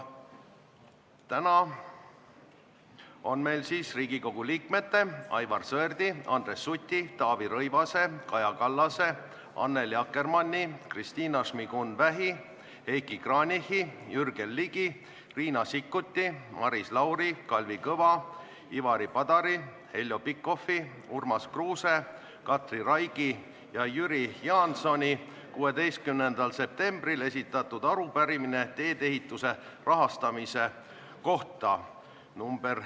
Täna on meil kavas Riigikogu liikmete Aivar Sõerdi, Andres Suti, Taavi Rõivase, Kaja Kallase, Annely Akkermanni, Kristina Šmigun-Vähi, Heiki Kranichi, Jürgen Ligi, Riina Sikkuti, Maris Lauri, Kalvi Kõva, Ivari Padari, Heljo Pikhofi, Urmas Kruuse, Katri Raigi ja Jüri Jaansoni 16. septembril esitatud arupärimine teedeehituse rahastamise kohta .